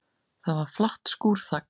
Það var flatt skúrþak.